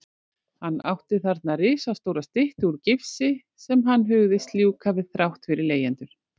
Hann átti þarna risastóra styttu úr gifsi sem hann hugðist ljúka við þrátt fyrir leigjendur.